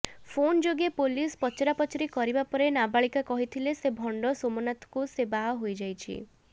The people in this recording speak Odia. ଫୋନ ଯୋଗେ ପୋଲିସ ପଚରାପଚରି କରିବାପରେ ନାବାଳିକା କହିଥିଲା ସେ ଭଣ୍ଡ ସେମାନାଥକୁ ସେ ବାହା ହୋଇଯାଇଛି